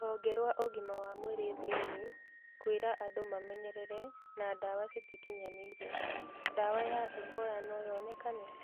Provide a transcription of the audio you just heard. Rũhonge rwa ũgima wa mwĩrĩ thĩ-inĩ kwĩra andũ memenyerere na ndawa citakinyanĩire, ndawa ya Ebola no yonekane?